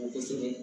Kosɛbɛ